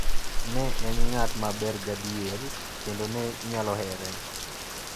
Ne en ng'at maber gadier, kendo ne inyalo here.